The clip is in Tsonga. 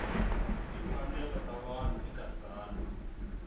timfanelo ta vanhu eka tsalwa